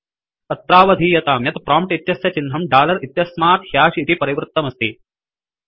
अत्रावधीयतां यत् प्रोम्प्ट इत्यस्य चिह्नं दालर इत्यस्मात् ह्याश इति परिवृत्तमस्ति इति